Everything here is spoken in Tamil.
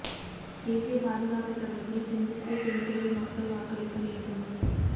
தேசிய பாதுகாப்பு தொடர்பில் சிந்தித்தே தேர்தலில் மக்கள் வாக்களிக்க வேண்டும்